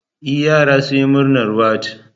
E, yara sun yi murnar wat